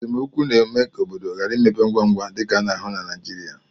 esemokwu na-eme ka obodo ghara ịmepe ngwa ngwa, dịka a na-ahụ na Naijirịa